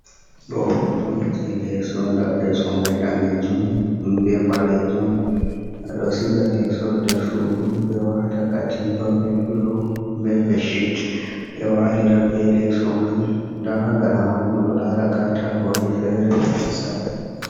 Ɗo hoto on je leso on. Ɗa leso mai danejum be balejun ɓe ɗo siga leso nder sudu ɓe wata katifa be filo be beshit ɓe walira be leso man da ha gaɗa man ɓo miɗo lara katako je fere je sare.